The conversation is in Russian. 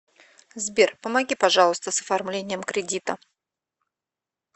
сбер помоги пожалуйста с оформлением кредита